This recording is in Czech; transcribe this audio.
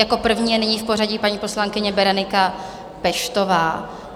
Jako první je nyní v pořadí paní poslankyně Berenika Peštová.